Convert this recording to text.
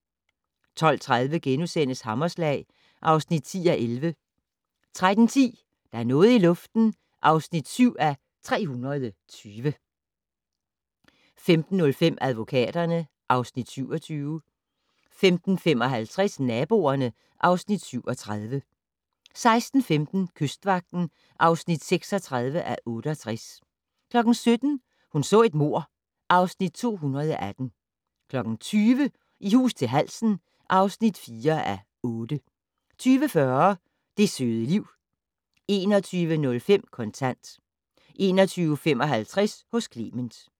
12:30: Hammerslag (10:11)* 13:10: Der er noget i luften (7:320) 15:05: Advokaterne (Afs. 27) 15:55: Naboerne (Afs. 37) 16:15: Kystvagten (36:68) 17:00: Hun så et mord (Afs. 218) 20:00: I hus til halsen (4:8) 20:40: Det søde liv 21:05: Kontant 21:55: Hos Clement